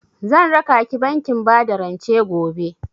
Zan rakaki bankin bada rance gobe.